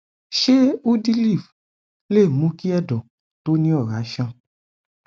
ṣé udiliv lè mú kí ẹdọ tó ní ọrá sàn